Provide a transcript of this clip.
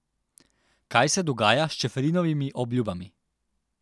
Kaj se dogaja s Čeferinovimi obljubami?